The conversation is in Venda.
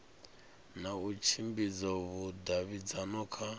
na u tshimbidza vhudavhidzano kha